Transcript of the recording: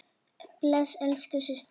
Bless elsku systir.